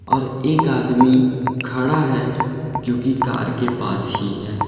और एक आदमी खड़ा है जो कि कार के पास ही है।